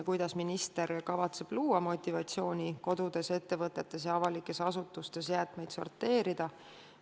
Kuidas minister kavatseb luua motivatsiooni kodudes, ettevõtetes ja avalikes asutustes jäätmeid sorteerida?